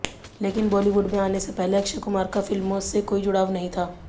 लेकिन बॉलीवुड में आने से पहले अक्षय कुमार का फिल्मों से कोई जुड़ाव नहीं था